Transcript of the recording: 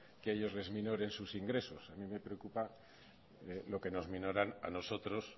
que ellos les aminoren sus ingresos a mí me preocupa lo que nos minoran a nosotros